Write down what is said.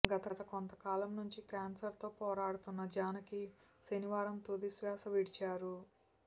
గత కొంతకాలం నుంచి క్యాన్సర్తో పోరాడుతున్న జానకి శనివారం తుదిశ్వాస విడిచారు